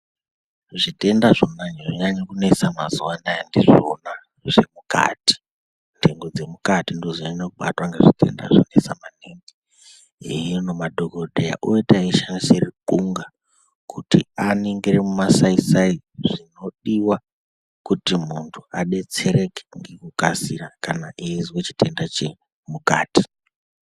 Zvitenda zvonyanya kunesa mazuva anaya ndizvona zvemukati. Ndengo dzemukati ndoodzonyanya kubatwa ngezvitenda zvonesa maningi. Hino madhogodheya oita eishandisa ruxunga kuti aningire mumasai-sai zvinodiwa kuti muntu adetsereke ngekukasira kana eizwe chitenda chemukati.